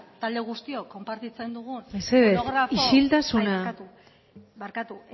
talde guztiok konpartitzen dugun mesedez isiltasuna barkatu